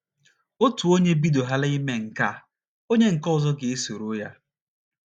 Otu onye bidohaala ime nke ya, onye nke ọzọ ga - esoro ya.